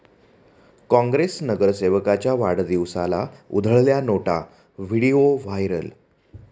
काँग्रेस नगरसेवकाच्या वाढदिवसाला उधळल्या नोटा, व्हिडिओ व्हायरल